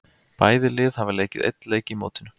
Bæði lið hafa leikið einn leik í mótinu.